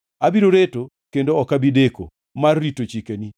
Abiro reto kendo ok abi deko mar rito chikeni.